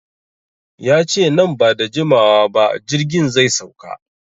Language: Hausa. Yace nan bada jimawa ba jirgin zai sauka